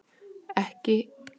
Fær ekki kröfuna greidda